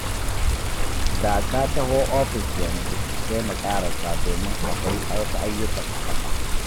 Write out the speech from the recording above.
Da ka taho ofis yanzu sai mu ƙarasa domin akwai wasu ayyukan a ƙasa.